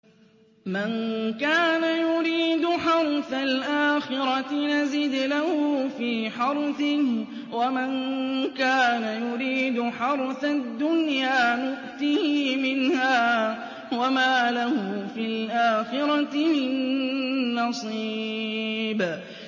مَن كَانَ يُرِيدُ حَرْثَ الْآخِرَةِ نَزِدْ لَهُ فِي حَرْثِهِ ۖ وَمَن كَانَ يُرِيدُ حَرْثَ الدُّنْيَا نُؤْتِهِ مِنْهَا وَمَا لَهُ فِي الْآخِرَةِ مِن نَّصِيبٍ